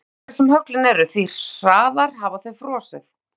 Því hvítari sem höglin eru því hraðar hafa þau frosið.